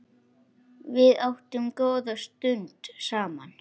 Við áttum góða stund saman.